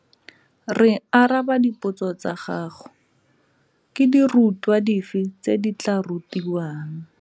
Re araba dipotso tsa gago. Ke dirutwa dife tse di tla rutiwang?